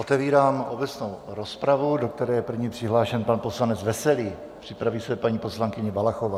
Otevírám obecnou rozpravu, do které je první přihlášen pan poslanec Veselý, připraví se paní poslankyně Valachová.